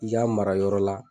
I k'a mara yɔrɔ la.